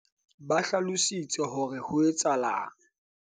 ba hlalositse hore ho etsahetseng